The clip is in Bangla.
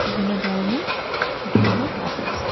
বিভিন্ন ধরনের ছোট বড় গাছ আছে।